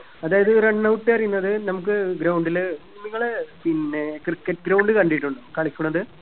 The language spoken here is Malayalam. അതായത് run out പറയുന്നത് നമുക്ക് ground ല് നിങ്ങള് പിന്നെ cricket ground കണ്ടിട്ടുണ്ടോ കളിക്കുന്നത്